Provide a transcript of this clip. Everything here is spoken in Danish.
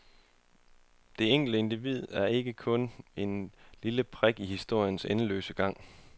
Det enkelte individ er kun en lille prik i historiens endeløse gang.